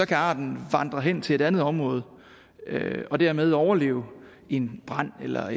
kan arten vandre hen til et andet område og dermed overleve en brand eller